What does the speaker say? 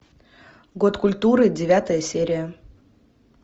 год культуры девятая серия